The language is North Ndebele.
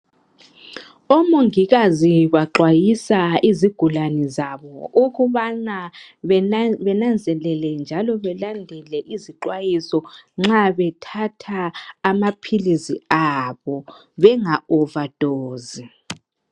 Omongikazi baxwayisa izigulane zabo ukubana benanzelele njalo belandele izixwayiso nxa bethatha amaphilisi abo benga overdose.